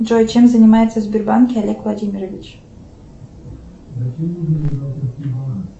джой чем занимается в сбербанке олег владимирович